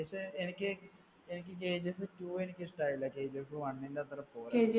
പക്ഷെ എനിക്ക് എനിക്ക് കെജിഎഫ് two എനിക്ക് ഇഷ്ടായില്ല. കെജിഎഫ് one ന്റെ അത്ര പോര